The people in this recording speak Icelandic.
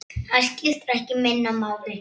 Það skiptir ekki minna máli.